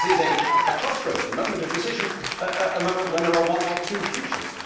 A crisis is a crossroads, a moment of decision, a moment when there is one of two futures.